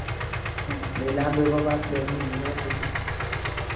अह लय लांब बाबा आपल्या ह्या पासून